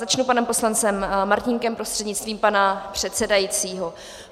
Začnu panem poslancem Martínkem prostřednictvím pana předsedajícího.